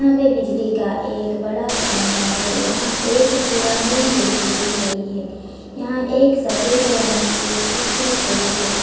पे बिजली का एक बड़ा खंबा है यहां एक पुरानी जे_सी_बी खड़ी है यहां एक सफेद रंग की स्कूटी खड़ी है।